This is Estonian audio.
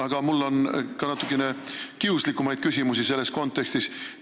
Aga mul on ka natuke kiuslikumaid küsimusi selles kontekstis.